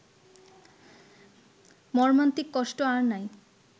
মম্মান্তিক কষ্ট আর নাই